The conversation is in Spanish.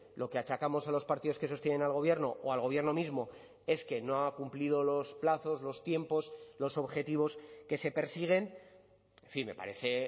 lo que achacamos a los partidos que sostienen al gobierno o al gobierno mismo es que no ha cumplido los plazos los tiempos los objetivos que se persiguen en fin me parece